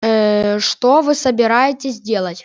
ээ что вы собираетесь делать